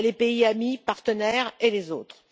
Il y a les pays amis, partenaires et les autres.